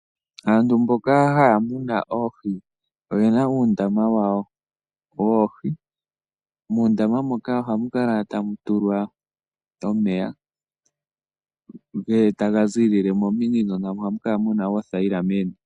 Aantu mboka haya munu oohi oyena uundama wawo woohi. Muundama moka ohamu kala tamu tulwa omeya taga ziilile mominino nohamu kala muna oothayila meni.